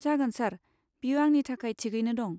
जागोन सार, बेयो आंनि थाखाय थिगैनो दं।